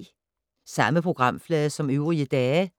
Samme programflade som øvrige dage